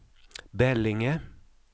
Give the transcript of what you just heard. Bälinge